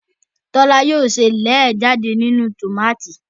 Tola yóò se lẹẹ jáde nínú tomati